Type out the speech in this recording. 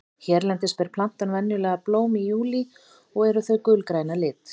hérlendis ber plantan venjulega blóm í júlí og eru þau gulgræn að lit